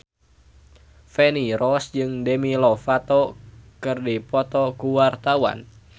Feni Rose jeung Demi Lovato keur dipoto ku wartawan